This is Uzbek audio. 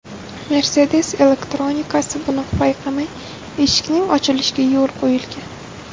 Mercedes elektronikasi buni payqamay, eshikning ochilishiga yo‘l qo‘ygan.